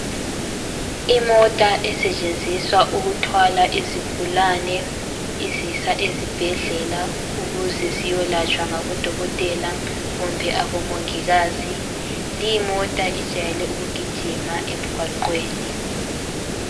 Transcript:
imota esetshenziswa ukuthwala izigulane izisa ezibhedlela ukuze ziyolatshwa ngabo dokotela kumbe abomongikazi limota ijayele ukugjiima emgwaqweni